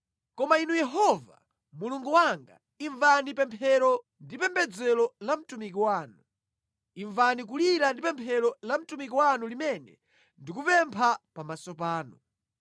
Koma Inu Yehova, Mulungu wanga, imvani pemphero ndi pembedzero la mtumiki wanu. Imvani kulira ndi pemphero la mtumiki wanu limene ndikupempha pamaso panu.